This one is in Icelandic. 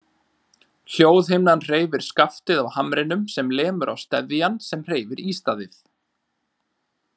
Hljóðhimnan hreyfir skaftið á hamrinum sem lemur á steðjann sem hreyfir ístaðið.